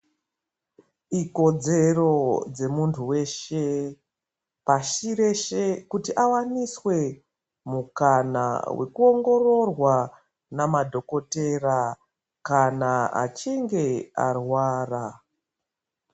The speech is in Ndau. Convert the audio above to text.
Ikodzero dzemuntu weshe pashireshe kuti awaniswe mukana nekuongorora nemadhokodheya kana achinge arwara.